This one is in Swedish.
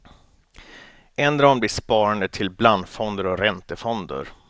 Ändra om ditt sparande till blandfonder och räntefonder.